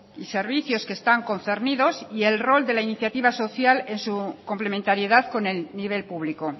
y servicios que están concernidos y el rol de la iniciativa social en su complementariedad con el nivel público